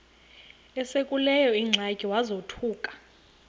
esekuleyo ingxaki wazothuka